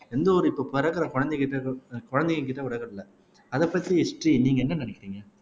எந்த ஒரு இப்ப பிறக்கிற குழந்தைங்ககிட்ட இருந்து கூட குழந்தைங்ககிட்ட அதைப் பத்தி ஸ்ரீ நீங்க என்ன நினைக்கறீங்க